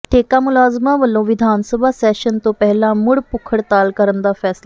ਠੇਕਾ ਮੁਲਾਜ਼ਮਾਂ ਵਲੋਂ ਵਿਧਾਨ ਸਭਾ ਸੈਸ਼ਨ ਤੋਂ ਪਹਿਲਾਂ ਮੁੜ ਭੁੱਖ ਹੜਤਾਲ ਕਰਨ ਦਾ ਫ਼ੈਸਲਾ